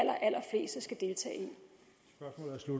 at